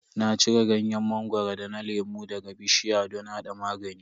Na cire ganyen mangoro da na lemu daga bishiya don hada magani.